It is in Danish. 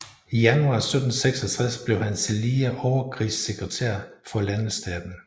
I januar 1766 blev han tillige overkrigssekretær for landetaten